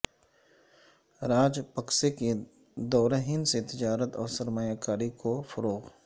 راجہ پکسے کے دورہ ہند سے تجارت اور سرمایہ کاری کو فروغ